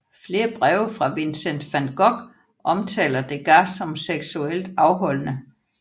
Flere breve fra Vincent van Gogh omtaler Degas som seksuelt afholdende